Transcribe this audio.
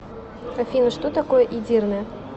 афина что такое эдирне